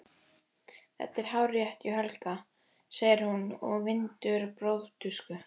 Þetta er hárrétt hjá Helga, segir hún og vindur borðtusku.